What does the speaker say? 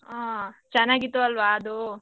ಹ ಚೆನ್ನಾಗಿತ್ತು ಅಲ್ವಾ ಅದು.